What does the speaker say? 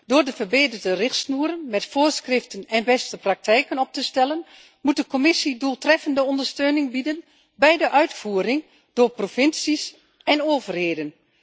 Door verbeterde richtsnoeren met voorschriften en beste praktijken op te stellen, moet de Commissie doeltreffende ondersteuning bieden bij de uitvoering door provincies en overheden.